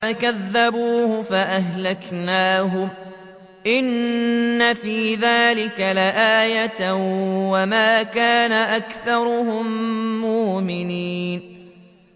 فَكَذَّبُوهُ فَأَهْلَكْنَاهُمْ ۗ إِنَّ فِي ذَٰلِكَ لَآيَةً ۖ وَمَا كَانَ أَكْثَرُهُم مُّؤْمِنِينَ